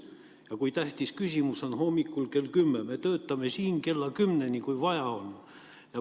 Ja kui tähtis küsimus on hommikul kell 10, siis me töötame siin kella 10-ni, kui vaja on.